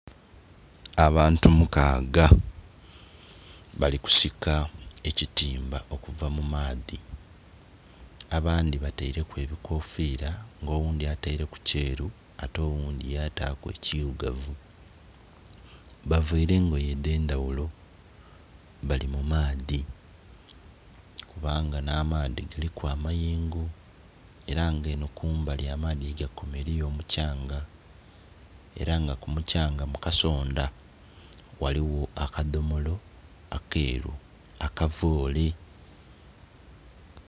Abaantu mukaga balikusika ekitimba okuva mumaadhi abandhi batereku ebikofira nga oghundhi ataireku kyeru ate oghundhi yataku ekyiirugavu baveire engoye edhendhaghulo bali mumaadhi kubanga namaadhi galiku amayengo era nga eno kumbali amadhi yegakoma eriyo mukyanga era nga kumukyanga mukasonda ghaligho akadhomolo akeru akavoole